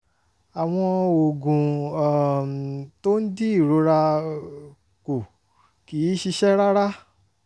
àwọn oògùn um tó ń dín ìrora um kù kì í ṣiṣẹ́ rárá